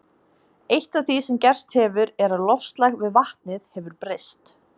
Eitt af því sem gerst hefur er að loftslag við vatnið hefur breyst.